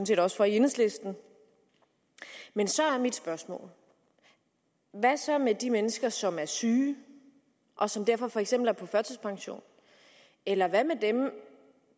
set også for i enhedslisten så er mit spørgsmål hvad så med de mennesker som er syge og som derfor for eksempel er på førtidspension eller hvad med dem